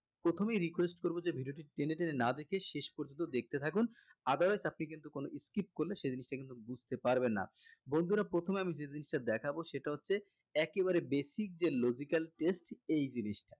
প্রথমেই request করবো যে video টি টেনে টেনে না দেখে শেষ পর্যন্ত দেখতে থাকুন otherwise আপনি কিন্তু কোনো skip করলে সে জিনিসটা কিন্তু বুজতে পারবেন না বন্ধুরা প্রথমে আমি যে জিনিষটা দেখাবো সেটা হচ্ছে একেবারে basic যে logical test এই জিনিসটা